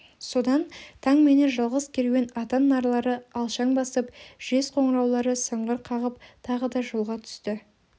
содан таңменен жалғыз керуен атан нарлары алшаң басып жез қоңыраулары сыңғыр қағып тағы да жолға түсті